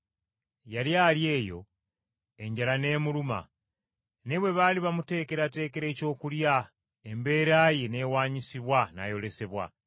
Yali ali eyo enjala n’emuluma, naye bwe baali bamuteekerateekera ekyokulya embeera ye n’ewaanyisibwa n’ayolesebwa.